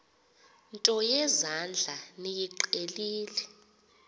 nto yezandla niyiqhelile